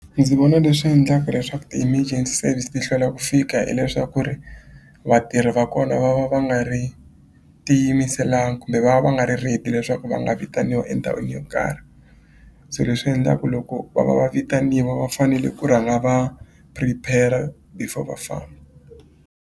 Ndzi vona leswi endlaka leswaku ti-emergency service ti hlwela ku fika hileswaku ri vatirhi va kona va va va nga ri tiyimiselanga kumbe va va va nga ri ready leswaku va nga vitaniwa endhawini yo karhi so leswi endla ku loko va va va vitaniwa va fanele ku rhanga va prepare before va .